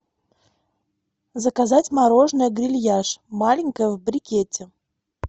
заказать мороженое грильяж маленькое в брикете